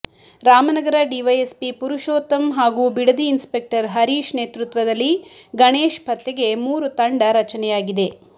Ramanagara DYSP Purushottam ಹಾಗೂ Bidadi inspector Harish ನೇತೃತ್ವದಲ್ಲಿ ಗಣೇಶ್ ಪತ್ತೆಗೆ ಮೂರು ತಂಡ ರಚನೆಯಾಗಿದೆ